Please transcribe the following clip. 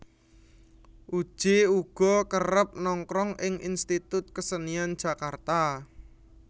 Uje uga kerep nongkrong ing Institut Kesenian Jakarta